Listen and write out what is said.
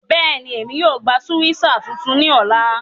Bẹ́ẹ̀ni, Émi yóò gba sukwéesá tuntun ni ọla.